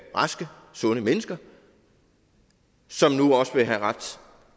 raske sunde mennesker som nu også vil have ret